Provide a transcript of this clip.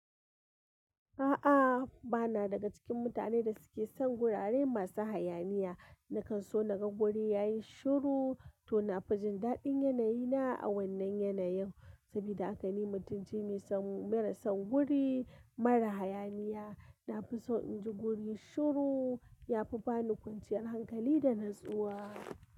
A'a, bana daga cikin mutane da suke son gurare masu hayaniya. Nakan so na ga wuri ya yi shiru, to na fi jin daɗin yanayi na, a wannan yanayin. Sabida haka ni mutunci mai son mara son guri, mara hayaniya. Na fi so in ji wuri shiru, ya fi ba ni kwanciyar hankali da natsuwa.